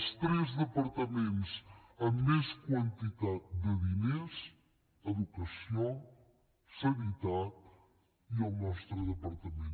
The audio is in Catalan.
els tres departaments amb més quantitat de diners educació sanitat i el nostre departament